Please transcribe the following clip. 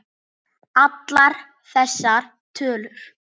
Allar þessar tölur.